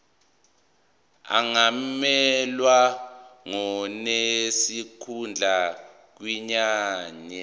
angamelwa ngonesikhundla kwinyunyane